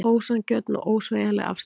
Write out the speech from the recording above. Ósanngjörn og ósveigjanleg afstaða